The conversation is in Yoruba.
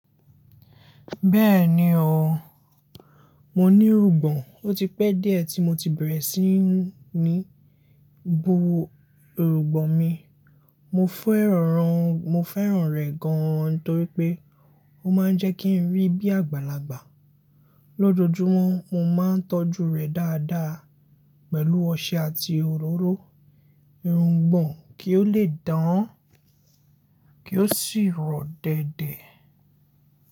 Bẹ́ẹ̀ni o, mo ní irùngbọ̀n, ó ti pẹ́ díẹ̀ tí mo ti bẹ̀rẹ̀ sí ní bo irùngbọ̀n mi. Mo fẹ́ràn rẹ̀ gan torí pé ó máa ń jẹ́ kí n rí bí àgbàlagbà. Lójojúmọ́ mo máa ń tọ́jú rẹ̀ dáadáa pẹ̀lú ọṣẹ àti òróró irùngbọ̀n kí ó lè dán, kí ó sì rọ̀ dẹ̀dẹ̀